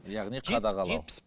яғни қадағалау